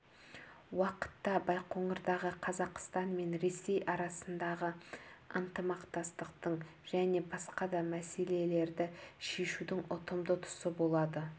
уақытта байқоңырдағы қазақстан мен ресей арасындағы ынтымақтастықтың және басқа да мәселелерді шешудің ұтымды тұсы болады